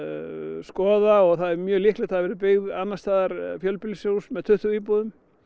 skoða og það er mjög líklegt að það verði byggt annars staðar fjölbýlishús með tuttugu íbúðum